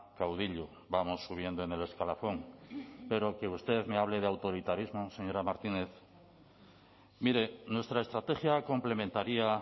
caudillo vamos subiendo en el escalafón pero que usted me hable de autoritarismo señora martínez mire nuestra estrategia complementaría